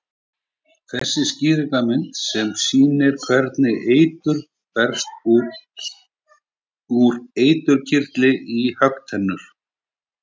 Skýringarmynd sem sýnir hvernig eitur berst úr eiturkirtli í höggtennur.